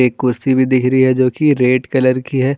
एक कुर्सी भी दिख रही है जोकि रेड कलर की है।